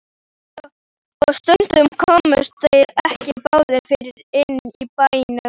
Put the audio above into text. Og stundum komust þeir ekki báðir fyrir inni í bænum.